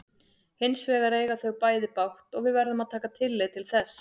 Hins vegar eiga þau bæði bágt og við verðum að taka tillit til þess.